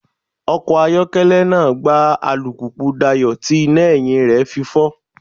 Ọkọ̀ ayokele náà gbá alùpùpù Dayọ̀ tí iná ẹ̀yìn rẹ̀ fi fọ́.